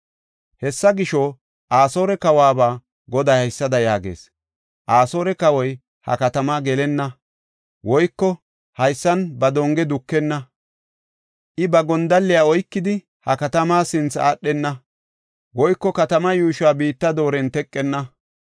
“Hessa gisho, Asoore kawuwaba Goday haysada yaagees; ‘Asoore kawoy ha katama gelenna; woyko haysan ba donge dukenna. I ba gondalliya oykidi, ha katama sinthe aadhenna; woyko katama yuushuwa biitta dooren teqetenna.